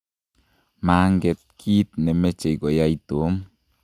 manget kiit ne machei koyai Tom